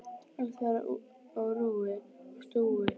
Allt þar á rúi og stúi.